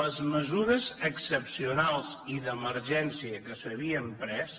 les mesures excepcionals i d’emergència que s’havien pres